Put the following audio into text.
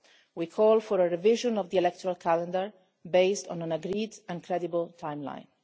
We call for a revision of the electoral calendar, based on an agreed and credible timeline.